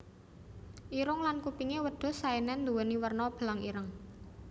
Irung lan kupingé wedhus Saenen nduwéni werna belang ireng